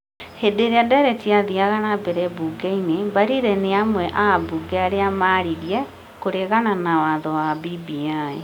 Hĩndĩ ĩria ndereti yathiaga na mbere mbunge-inĩ, Mbarire nĩ amwe a ambunge arĩa marĩrĩirĩe kũrĩgana na watho wa BBI,